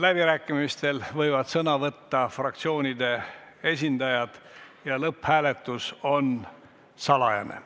Läbirääkimistel võivad sõna võtta fraktsioonide esindajad ja lõpphääletus on salajane.